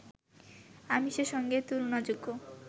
আমিষের সঙ্গে তুলনাযোগ্য